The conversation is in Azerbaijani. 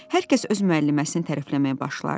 Hər kəs öz müəlliməsini tərəfləməyə başlardı.